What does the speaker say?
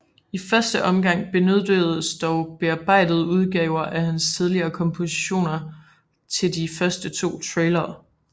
I første omgang benyttedes dog bearbejdede udgaver af hans tidligere kompositioner til de første to trailere